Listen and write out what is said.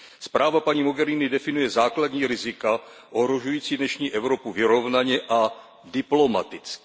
Zpráva paní Mogheriniové definuje základní rizika ohrožující dnešní Evropu vyrovnaně a diplomaticky.